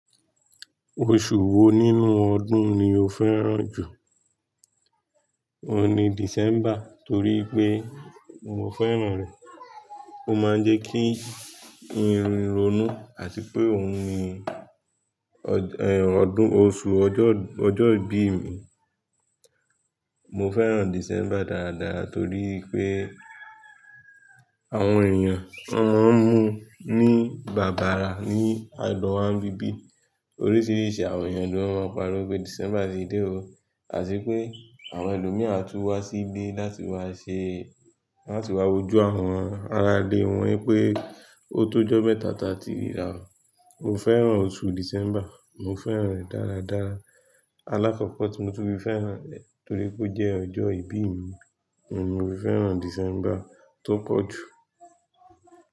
Oṣù wo nínú ọdún ni o fẹ́ràn jù? Ohun ni December torí pé mo fẹ́ràn rẹ̀. Ó máa ń jẹ́ kí n ki n ronú àti pé òhun ni ọdún, oṣù ọjọ́, ọjọ́ ìbí mi. Mo fẹ́ràn December dáradára torí wipé àwọn èèyàn won máa ń mu ní bàbàrà ní agbọnwa ń bíbí. Oríṣiríṣi àwọn èèyàn ló máa ń pariwo pé December ti dé o àti wipé àwọn ẹlòmíi a tún wá sí ilé láti wá ṣe, láti wá wojú àwọn aráalé wọn pé o tó jọ́ mẹ́ta ta tí ríra. Mo fẹ́ràn oṣù December, mo fẹ́ràn rẹ̀ dáradára. Alákọ̀ọ́kọ́ tí mo tun fi fẹ́ràn rẹ̀ torí pé ó jẹ́ ọjọ́ ìbí mi. Óhun ni mo fi fẹ́ràn December tó pọ̀ jù.